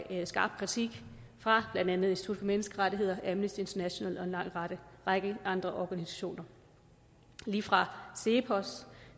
skarp kritik fra blandt andet institut for menneskerettigheder amnesty international og en lang række andre organisationer lige fra cepos